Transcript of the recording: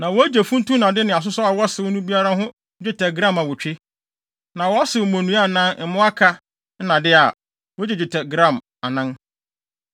(Na wogye funtum nnade ne asosɔw a wɔsew no biara ho dwetɛ gram awotwe, na sɛ wɔsew mmonnua anaa mmoaka nnade a, wogye dwetɛ gram anan.)